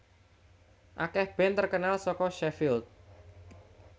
Akeh band terkenal saka Sheffield